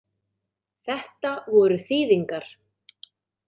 Þetta voru þýðingar.